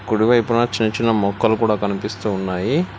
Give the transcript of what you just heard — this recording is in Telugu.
కుడి వైపున చిన్న చిన్న మొక్కలు కూడా కనిపిస్తు ఉన్నాయి.